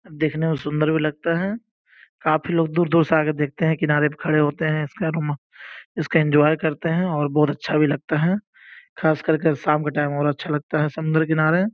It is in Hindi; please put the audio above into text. देखने में सुंदर भी लगता है काफी लोग दूर-दूर से आकर देखते हैं किनारे प खड़े होते हैं इसका इसका एंजॉय करते हैं और बहुत अच्छा भी लगता है खास करके शाम का टाइम और अच्छा लगता है समुंद्र किनारे।